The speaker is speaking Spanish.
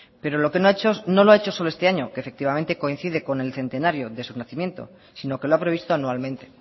pero lo que ha hecho no lo ha hecho solo este año que efectivamente coincide con el centenario de su nacimiento sino que lo ha previsto anualmente